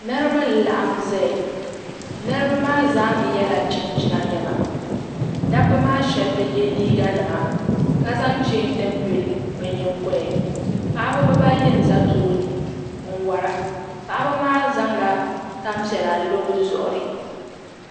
Niriba n laɣim zaya niriba maa zaa yela chinchina niɛma dabba maa sheba bɛ ye liiga nima ka zaŋ cheeni nima n yili bɛ nyingoya ni paɣaba bibaayi n za tooni n wara baɣaba maa zaŋla tampiɛla n lo bɛ zuɣuri.